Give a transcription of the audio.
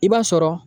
I b'a sɔrɔ